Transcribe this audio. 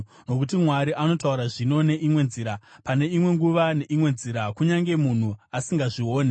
Nokuti Mwari anotaura zvino neimwe nzira, pane imwe nguva neimwe nzira, kunyange munhu asingazvioni.